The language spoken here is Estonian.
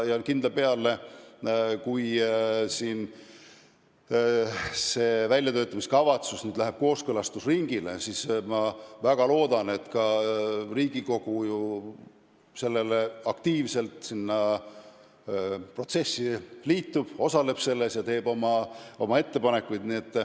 Kindla peale, kui see väljatöötamiskavatsus läheb kooskõlastusringile, siis ma väga loodan, et ka Riigikogu aktiivselt selle protsessiga liitub, osaleb selles ja teeb oma ettepanekuid.